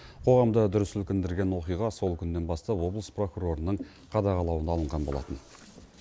қоғамды дүр сілкіндірген оқиға сол күннен бастап облыс прокурорының қадағалауына алынған болатын